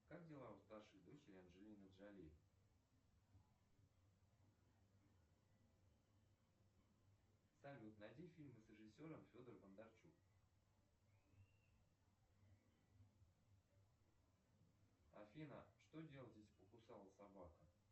как дела у старшей дочери анджелины джоли салют найди фильмы с режиссером федор бондарчук афина что делать если покусала собака